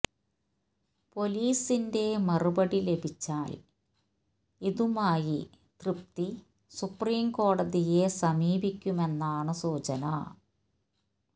പൊലീസിന്റെ മറുപടി ലഭിച്ചാല് ഇതുമായി തൃപ്തി സുപ്രീം കോടതിയെ സമീപിക്കുമെന്നാണ് സൂചന